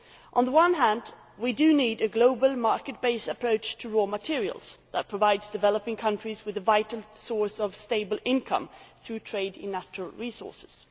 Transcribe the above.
On the one hand, we do need a global market based approach to raw materials that provides developing countries with a vital source of stable income through trade in natural resources.